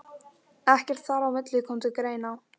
Ekkert þar á milli kom til greina.